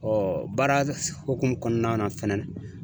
baara hokumu kɔnɔna na fɛnɛ na.